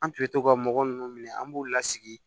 An tun bɛ to ka mɔgɔ nunnu minɛ an b'u lasigi